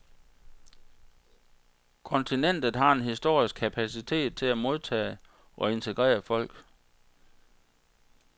Kontinentet har en historisk kapacitet til at modtage og integrere folk.